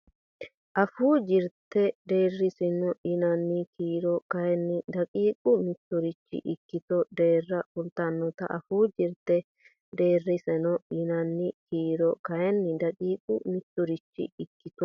Afuu Jirte Deerrisaano yinanni kiiro kayinni daqiiqa mitturichi ikkito deerra kultannote Afuu Jirte Deerrisaano yinanni kiiro kayinni daqiiqa mitturichi ikkito.